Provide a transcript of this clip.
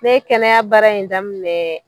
Ne kɛnɛya baara in daminɛ.